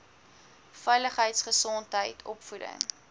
veiligheid gesondheid opvoeding